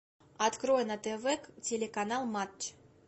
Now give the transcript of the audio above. открой на тв телеканал матч